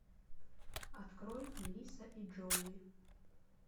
открой мелисса и джоуи